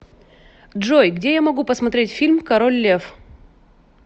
джой где я могу посмотреть фильм король лев